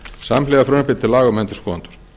samhliða frumvarpi til laga um endurskoðendur